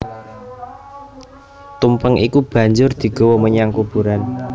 Tumpeng iku banjur digawa menyang kuburan